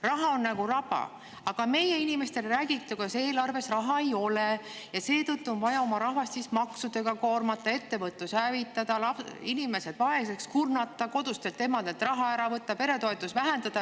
Raha on nagu raba, aga meie inimestele räägiti, kuidas eelarves raha ei ole ja seetõttu on vaja oma rahvast maksudega koormata, ettevõtlus hävitada, inimesed vaeseks kurnata, kodustelt emadelt raha ära võtta, peretoetusi vähendada.